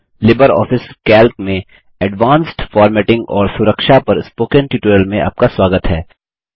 Libre Office Calc में advanced formatting और सुरक्षा प्रोटेक्शन पर स्पोकन ट्यूटोरियल में आपका स्वागत है